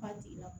Ba tigi la